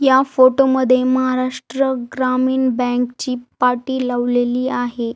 या फोटो मध्ये महाराष्ट्र ग्रामीण बँक ची पाटी लावलेली आहे.